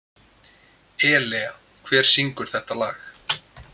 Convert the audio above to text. Elea, hver syngur þetta lag?